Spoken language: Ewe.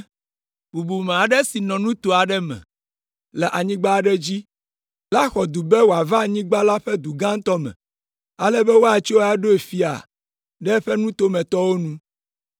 “Bubume aɖe si nɔ nuto aɖe me le anyigba aɖe dzi la xɔ du be wòava anyigba la ƒe du gãtɔ me, ale be woatsɔe aɖo fiae ɖe eƒe nutometɔwo nu.